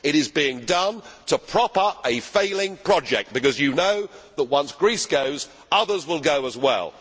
It is being done to prop up a failing project because you know that once Greece goes, others will go as well.